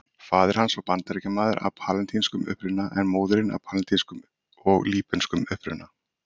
Ís var lengi vel munaður og eingöngu borðaður við hátíðleg tækifæri.